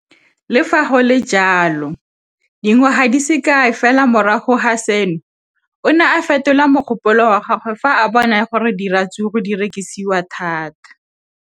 Le fa go le jalo, dingwaga di se kae fela morago ga seno, o ne a fetola mogopolo wa gagwe fa a bona gore diratsuru di rekisiwa thata.